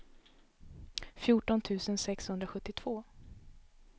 fjorton tusen sexhundrasjuttiotvå